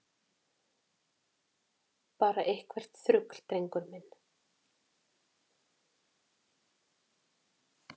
Bara eitthvert þrugl, drengur minn.